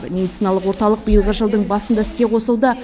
медициналық орталық биылғы жылдың басында іске қосылды